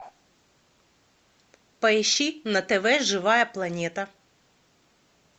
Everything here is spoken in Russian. поищи на тв живая планета